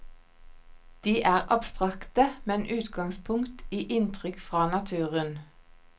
De er abstrakte, med utgangspunkt i inntrykk fra naturen.